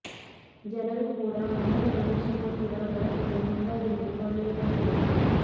ಜನರು ಕೂಡ ಮಣ್ಣಿನ ಗಣೇಶ ಮೂರ್ತಿಗಳ ಬಳಕೆಗೆ ಮುಂದಾಗಿರುವುದು ಒಳ್ಳೆಯ ಬೆಳವಣಿಗೆ